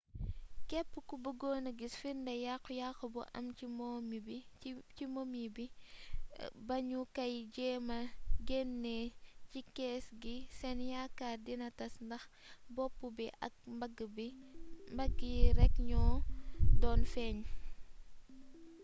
képp ku bëggoon a gis firnde yàqu yàqu bu am ci momi bi ba ñu kay jeemma genne ci kees gi seen yaakaar dina tass ndax bopp bi ak mbagg yi rekk ñoo doon feeñ